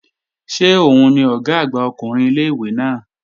Ṣé òun ni Ọ̀gá àgbà ọkùnrin ilé-ìwé náà?